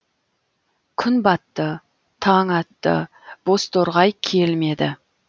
күн батты таң атты бозторғай келмеді